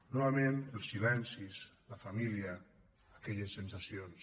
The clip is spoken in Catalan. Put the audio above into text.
novament els silencis la família aquelles sensacions